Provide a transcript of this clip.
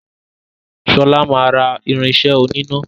Shola má rà irinṣẹ́ oníná.